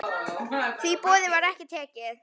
Því boði var ekki tekið.